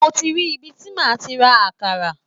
Mo ti rí ibi tí máà ti ra àkàrà.